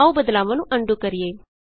ਆਉ ਬਦਲਾਵਾਂ ਨੂੰ ਅਨਡੂ ਕਰੀਏ